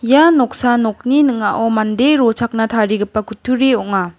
ia noksa nokni ning·ao mande rochakna tarigipa kutturi ong·a.